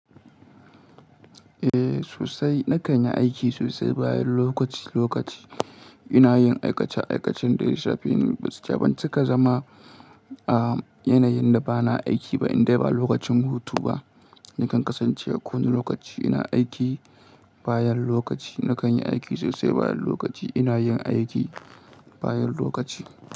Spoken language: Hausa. Eh sosai, na kanyi aiki sosai bayan lokaci lokaci. Ina yin aikace aikacen da ya shafe ni. Gaskiya ban cika zama, ah yanayin da ba na aiki ba in dai ba lokacin hutu ba. Nakan kasance a kowane lokaci ina aiki bayan lokaci. Na kanyi aiki sosai bayan lokaci. Ina yin aiki bayan lokaci.